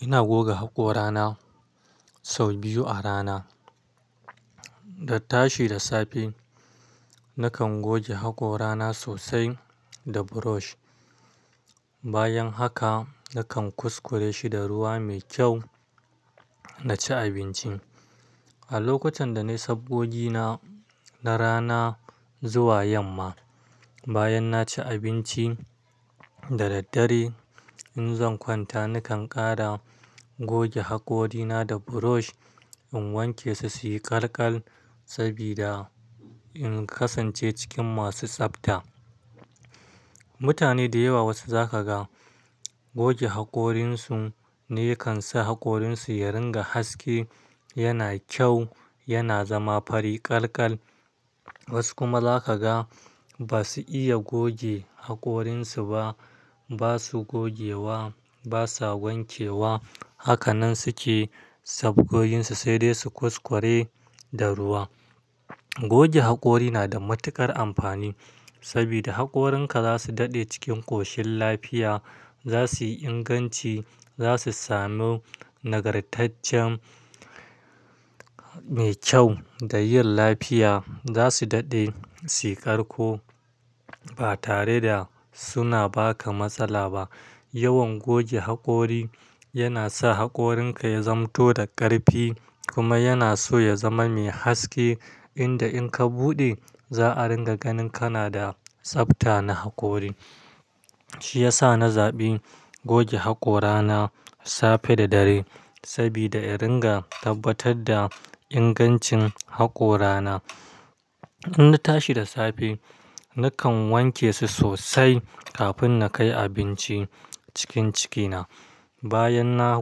Ina goga haƙora na sau biyu a rana. Da tashi da safe, nakan goge haƙorana sosai da brush. Bayan haka, nakan kuskure shi da ruwa mai kyau na ci abinci. A lokacin da na yi sabogina na rana zuwa yamma, bayan na ci abinci da daddare, in zan kwanta nakan ƙara goge haƙorina da brush in wanke su su yi ƙalkal sabida in kasance cikin masu tsafta. Mutane da yawa wasu za ka ga goge haƙorinsu ne yakan sa haƙorinsu ya ringa haske, yana kyau, yana zama fari ƙalkal. Wasu kuma za ka ga ba su iya goge haƙorinsu ba. Ba su gogewa, ba sa wankewa. Haka nan su ke sabgoginsu, sai dai su kuskure da ruwa. Goge haƙori na da matuƙar amfani sabida haƙorinka za su daɗe cikin ƙoshin lafiya, za su yi inganci, za su samu nagartaccen mai kyau da yin lafiya. Za su daɗe, su ƙarƙo ba tare da suna ba ka matsala ba. Yawan goge haƙori yana sa haƙorinka ya zanto da ƙarfi kuma yana so ya zama mai haske inda in ka buɗe, za a ringa ganin ka na da tsafta na haƙori. Shi ya sa na zaɓi goge haƙora na safe da dare sabida ya ringa tabbatar da ingancin haƙora na. In na tashi da safe, nakan wanke su sosai kafin na kai abinci cikin ciki na. Bayan na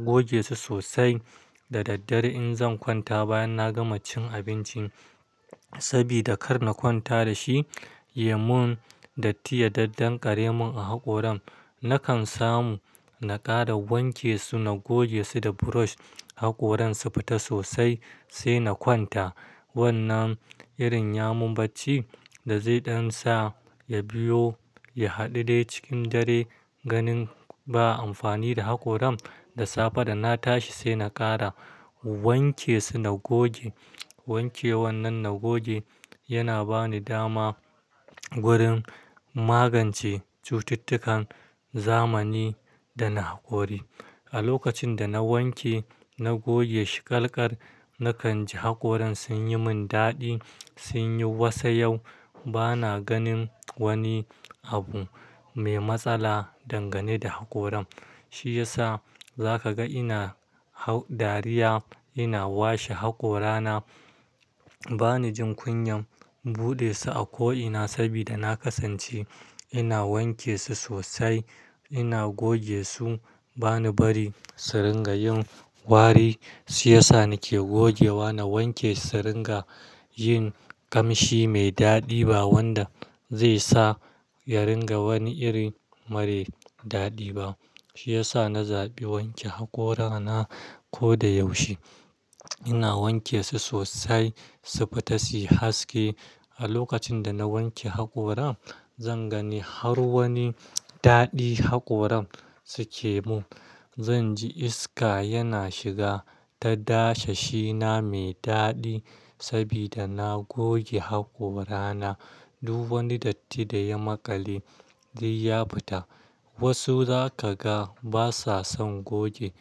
goge su sosai da daddare in zan kwanta bayan na gama cin abinci sabida kar na kwanta da shi, yamun da tiya daddan ƙare mun a haƙoran, nakan samu na ƙara wanke su, na goge su da brush haƙoran su fita sosai sai na kwanta. Wannan irin yamun bacci da zai ɗan sa ya biyo ya haɗude cikin dare, ganin ba amfani da haƙoran da safe da na tashi sai na ƙara wanke su na goge. Wanke wannan na goge yana ba ni dama wurin magance cututtukan zamani da na haƙori. A lokacin da na wanke na goge shi ƙalkal, nakan ji haƙoran sun yi mun daɗi, sun yi wasa yau. Ba na ganin wani abu mai matsala dangane da haƙoran. Shi ya sa za ka ga ina ha-- dariya ina washe haƙora na. Ba ni jin kunyan buɗe su a ko'ina sabida na ƙasance ina wanke su sosai, ina goge su. Ba ni bari su ringa yin wari. Shi ya sa nake gogewa na wanke su, su ringa yin ƙamshi mai daɗi ba wanda zai sa ya ringa wani iri mare daɗi ba. Shi ya sa na zaɓi wanke haƙora na ko da yaushe. Ina wanke su sosai su fita su yi haske. A lokacin da na wanke haƙoran, zan gani har wani daɗi haƙoran suke mun. Zan ji iska yana shiga ta dashe shi na mai daɗi sabida na goge haƙora na. Duw wani datti da ya maƙale zai ya fita. Wasu za ka ga basa son goge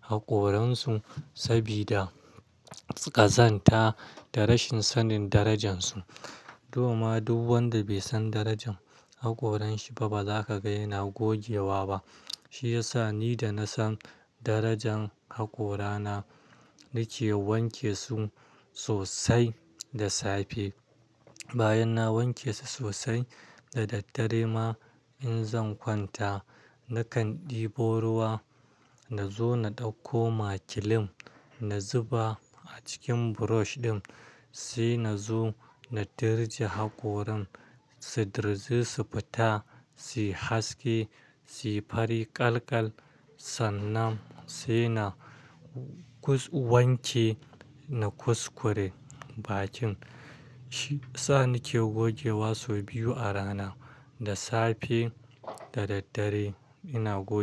haƙoransu sabida ƙazanta da rashin sanin darajansu. Domin duk wanda bai san darajan haƙoranshi ba ba za ka ga yana gogewa ba. Shi ya sa ni da na san darajan haƙora na, nake wanke su sosai da safe. Bayan na wanke su sosai da daddare ma in zan kwanta, nakan ɗebo ruwa na zo na ɗauko ma kilim na zuba a cikin brush ɗin sai na zo na dirje haƙoran su dirzu su fita, su yi haske, su yi fari ƙalkal. Sannan sai na kus-- wanke na kuskure bakin. Shi ya sa nake gogewa sau biyu a rana, da safe da daddare ina goge.